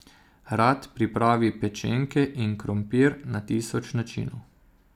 Rad pripravi pečenke in krompir na tisoč načinov.